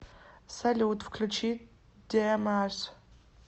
салют включи демарс